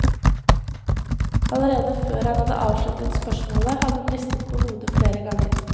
Allerede før han hadde avsluttet spørsmålet hadde hun ristet på hodet flere ganger.